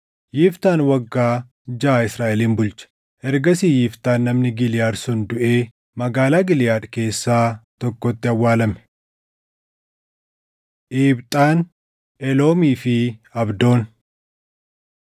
Yiftaan waggaa jaʼa Israaʼelin bulche. Ergasii Yiftaan namni Giliʼaad sun duʼee magaalaa Giliʼaad keessaa tokkotti awwaalame. Iibxaan, Eloomii fi Abdoon